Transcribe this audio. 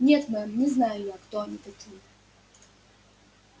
нет мэм не знаю я кто они такие